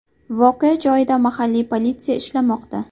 Voqea joyida mahalliy politsiya ishlamoqda.